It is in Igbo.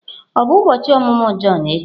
Ọ bụ ụbọchị ọmụmụ Jọn echi?